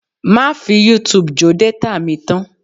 Má fi Youtube jó détà mi tán!